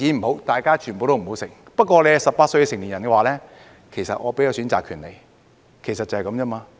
不過，如果是年滿18歲的成年人，我會給予選擇權，其實就是這樣而已。